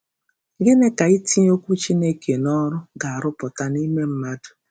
Gịnị ka itinye Okwu Chineke n’ọrụ ga-arụpụta n’ime mmadụ?